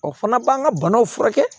O fana b'an ka banaw furakɛ